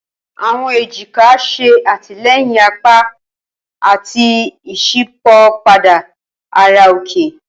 Awọn ejika ṣe atilẹyin apa ati iṣipopada ara oke.